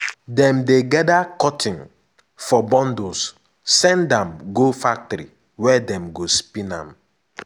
dem dey gather cotton for bundles send am go factory where dem go spin am.